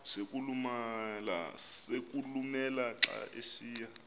sokulumela xa esiya